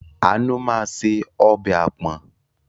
Àánú máa se ọbẹ̀ àpọ̀n.